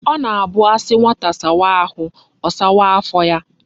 O na abu asi nwata sawa ahu,o sawaa afo ya